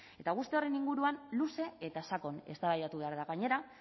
eta horren guztiaren inguruan luze eta sakon eztabaidatu behar da gainera